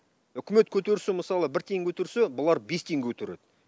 үкімет көтерсе мысалы бір тиын көтерсе бұлар бес тиын көтереді